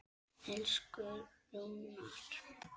Elsku Rúnar.